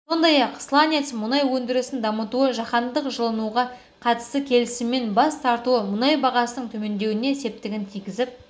сондай-ақ сланец мұнайы өндірісін дамытуы жаһандық жылынуға қатысты келісімнен бас тартуы мұнай бағасының төмендеуіне септігін тигізіп